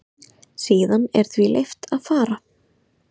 Síðan er því leyft að fara.